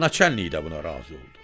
Naçallnik də buna razı oldu.